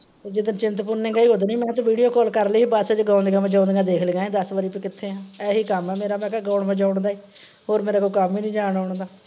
ਜਿੱਦਣ ਚਿੰਤਪੂਰਨੀ ਗਏ ਹੀ ਉੱਦਣ ਹੀ ਮੈਂ ਹਾਂ ਤੂੰ video call ਕਰਲੀ ਸੀ ਬੱਸ ਚ ਗੌਂਦੀਆਂ ਵਜੋਂਨਦੀਆਂ ਦੇਖ ਲਈਆਂ ਹੀ ਦੱਸ ਵਾਰੀ ਤੂੰ ਕਿੱਥੇ ਆਂ, ਇਹੀ ਕੱਮ ਆ ਮੇਰਾ ਮੈਂ ਕਿਹਾ ਗੌਣ ਵਜੋਂਨ ਦਾ ਈ, ਹੋਰ ਕੋਈ ਮੇਰਾ ਕੱਮ ਈ ਨੀ ਜਾਣ ਆਉਣ ਦਾ।